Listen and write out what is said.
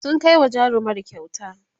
sun Kai wa jarumar kyauta